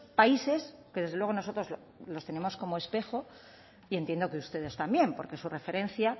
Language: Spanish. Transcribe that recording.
países que desde luego nosotros los tenemos como espejo y entiendo que ustedes también porque su referencia